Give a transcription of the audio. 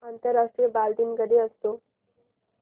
आंतरराष्ट्रीय बालदिन कधी असतो